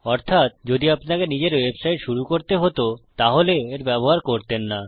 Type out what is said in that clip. অর্থাত যদি আপনাকে নিজের ওয়েবসাইট শুরু করতে হতো তাহলে এর ব্যবহার করতেন না